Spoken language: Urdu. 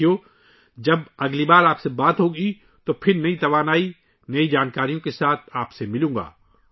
ساتھیو، اگلی بار جب میں آپ سے بات کروں گا تو میں آپ سے نئی توانائی اور نئی معلومات کے ساتھ ملوں گا